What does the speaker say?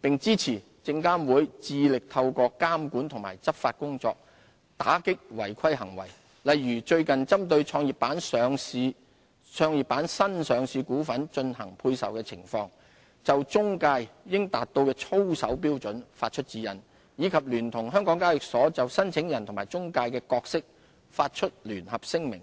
並支持證監會致力透過監管及執法工作，打擊違規行為，例如最近針對創業板新上市股份進行配售的情況，就中介應達到的操守標準發出指引，以及聯同香港交易所就申請人及中介的角色發出聯合聲明。